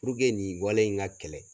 Puruke nin wale in ka kɛlɛ